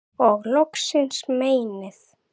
og skil loksins meinið